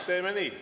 Teeme nii.